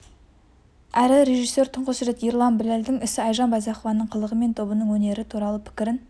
әрі режиссер тұңғыш рет ерлан біләлдің ісі айжан байзақованың қылығы мен тобының өнері туралы пікірін